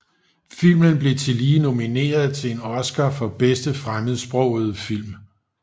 Filmen blev tillige nomineret til en Oscar for bedste fremmedsprogede film